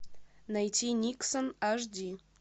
найти никсон аш ди